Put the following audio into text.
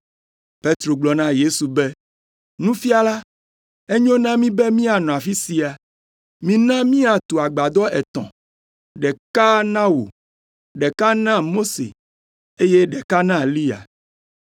Petro gblɔ na Yesu be, “Nufiala, enyo na mí be míanɔ afi sia. Mína míatu agbadɔ etɔ̃, ɖeka na wò, ɖeka na Mose, eye ɖeka na Eliya.”